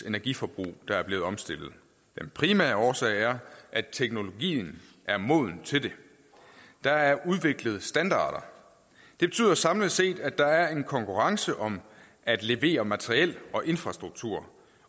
energiforbrug der er blevet omstillet den primære årsag er at teknologien er moden til det der er udviklet standarder det betyder samlet set at der er en konkurrence om at levere materiel og infrastruktur